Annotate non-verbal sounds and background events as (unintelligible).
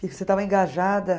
(unintelligible) você estava engajada.